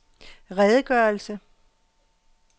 redegørelse